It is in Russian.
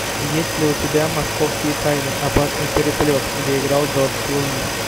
есть ли у тебя московские тайны опасный переплет где играл джордж клуни